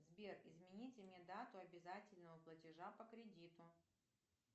сбер измените мне дату обязательного платежа по кредиту